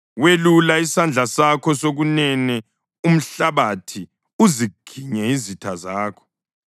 Welula isandla sakho sokunene umhlabathi uziginye izitha zakho.